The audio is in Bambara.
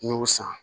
N y'o san